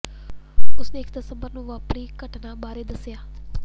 ਉਸ ਨੇ ਇਕ ਦਸੰਬਰ ਨੂੰ ਵਾਪਰੀ ਘਟਨਾ ਬਾਰੇ ਦੱਸਿਆ